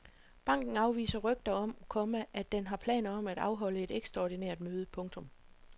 Banken afviser rygter om, komma at den har planer om at afholde et ekstraordinært møde. punktum